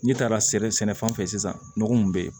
N'i taara sɛnɛ sɛnɛfɛn fɛ sisan nɔgɔ mun be yen